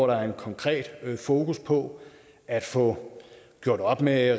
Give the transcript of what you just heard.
der er konkret fokus på at få gjort op med